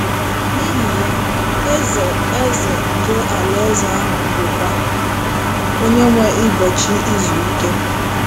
N’ihi ya, Eze Eze nke Alaeze ahụ bụkwa “ Onyenwe ụbọchị izu ike. ”